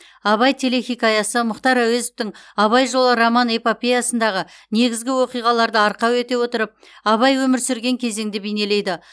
абай телехикаясы мұхтар әуезовтың абай жолы роман эпопеясындағы негізгі оқиғаларды арқау ете отырып абай өмір сүрген кезеңді бейнелейді